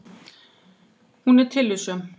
Hún er tillitssöm.